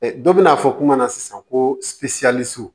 Dɔ bɛna fɔ kuma na sisan ko